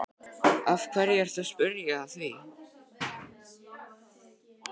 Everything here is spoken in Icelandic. Af hverju ertu að spyrja að því.